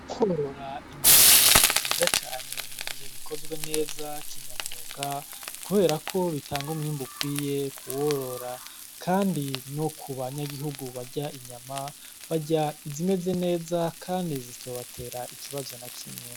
Korora ingurube nivyiza cane mugihe bikozwe neza kinyamwuga , kuberako bitanga umwimbu ukwiye kuworora , kandi no kubanyagihugu barya inyama , barya izimeze neza kandi zitobatera ikibazo nakimwe.